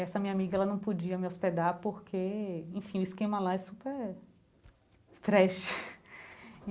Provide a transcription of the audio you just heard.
Essa minha amiga ela não podia me hospedar, porque, enfim, o esquema lá é super... trash.